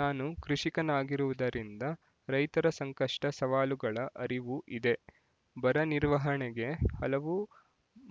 ನಾನು ಕೃಷಿಕನಾಗಿರುವುದರಿಂದ ರೈತರ ಸಂಕಷ್ಟ ಸವಾಲುಗಳ ಅರಿವು ಇದೆ ಬರ ನಿರ್ವಹಣೆಗೆ ಹಲವು